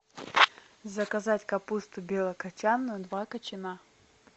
заказать капусту белокачанную два кочана